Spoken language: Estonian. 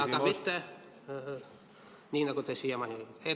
... aga mitte nii, nagu te siiamaani olete teinud.